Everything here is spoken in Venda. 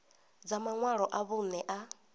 dza maṅwalo a vhuṋe a